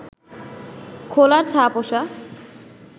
খোলার ছা-পোষা